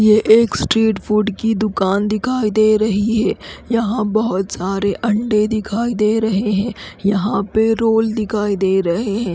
ये एक street food की दुकान दिखाई दे रही है यहाँ बोहोत सारे अंडे दिखाई दे रहे है यहाँ पे रोल दिखाई दे रहे है।